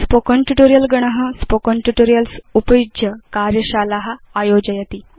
spoken tutorial गण spoken tutorials उपयुज्य कार्यशाला आयोजयति